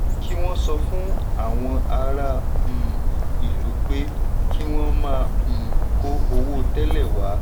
kí wọn sọ fún àwọn ará um ìlú pé kí wọn má um kó owó tẹ́lẹ̀ wá.